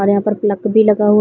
और यहाँ पर प्लक भी लगा हुआ --